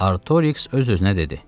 Artoriks öz-özünə dedi.